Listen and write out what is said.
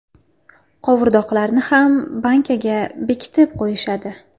Qovurdoqlarni ham bankaga bekitib qo‘yishadi.